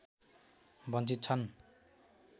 वञ्चित छन्